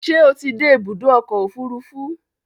Ṣé o ti dé ibùdó ọkọ̀ òfurufú?